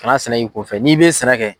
Kana sɛnɛ k'i kunfɛ, n'i be sɛnɛ kɛ